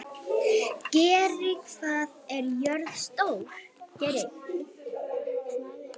Geiri, hvað er jörðin stór?